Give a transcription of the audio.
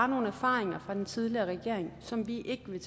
nogle erfaringer fra den tidligere regering som vi ikke vil